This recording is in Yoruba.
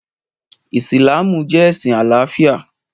Ìsìlámù jẹ́ ẹ̀sìn àlàáfíà